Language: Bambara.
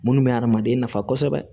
Minnu bɛ adamaden nafa kosɛbɛ